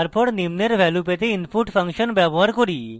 তারপর আমরা নিম্নের ভ্যালু পেতে input ফাংশন ব্যবহার করি